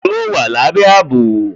Yóò wà lábé àbò